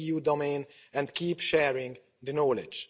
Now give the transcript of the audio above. .eu domain and keep sharing the knowledge.